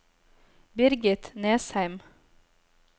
Birgit Nesheim